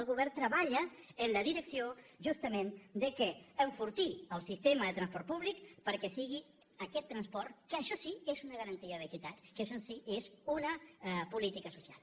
el govern treballa en la direcció justament d’enfortir el sistema de transport públic perquè sigui aquest transport que això sí que és una garantia d’equitat que això sí que és una política social